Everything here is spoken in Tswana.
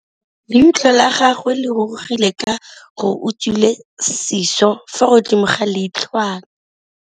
Leitlhô la gagwe le rurugile ka gore o tswile sisô fa godimo ga leitlhwana.